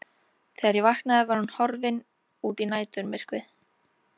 Þegar ég vaknaði var hún horfin út í næturmyrkrið.